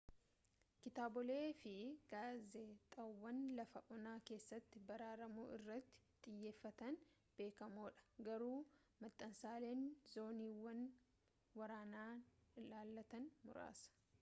kitaabolee fi gaazexaawwan lafa onaa keessatti baraaramuu irratti xiyyeeffatan beekamoodha garuu maxxansaaleen zooniiwwan waraanaa ilaallatan muraasa